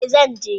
e, zan je.